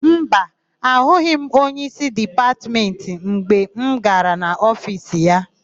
Mba, ahụghị m onyeísí Dipatmentị anyị mgbe m gara n'ofiisi ya.